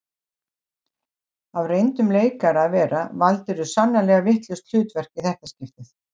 Af reyndum leikara að vera valdirðu sannarlega vitlaust hlutverk í þetta skiptið